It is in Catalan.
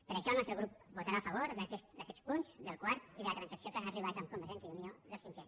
per això el nostre grup votarà a favor d’aquests punts del quart i de la transacció a què han arribat amb convergència i unió del cinquè